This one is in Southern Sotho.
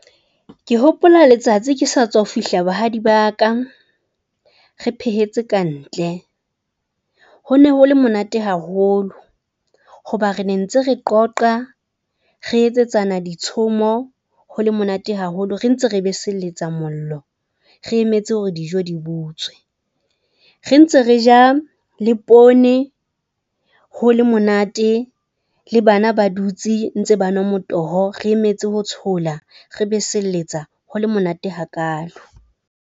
Ke hopola letsatsi ke sa tswa fihla bahadi ba ka, re phehetse kantle. Ho ne ho le monate haholo hoba re ne ntse re qoqa, re etsetsana ditshomo ho le monate haholo re ntse re beseletsa mollo. Re emetse hore dijo di butswe, re ntse re ja le poone. Ho le monate le bana ba dutse ntse banwa motoho, re emetse ho tshola re besebeletsa hole monate hakaalo.